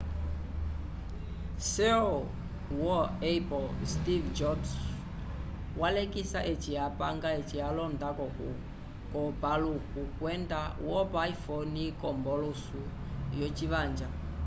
ceo wo apple steve jobs walekisa eci apanga eci alonda k'opaluku kwenda wopa iphone k'ombolusu yocimanja